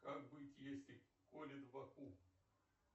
как быть если колит в боку